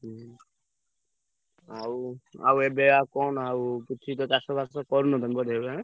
ହୁଁ ଆଉ, ଆଉ ଏବେ ଆଉ କଣ ଆଉ କିଛି ତ ଚାଷବାସ କରୁନ ତମେ ବୋଧେ ଏବେ ଆଁ?